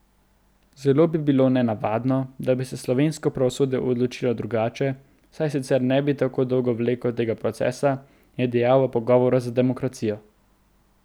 Zelo bi bilo nenavadno, da bi se slovensko pravosodje odločilo drugače, saj sicer ne bi tako dolgo vleklo tega procesa, je dejal v pogovoru za Demokracijo.